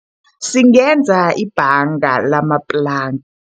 Singenza ibhanga ngalamaplanka.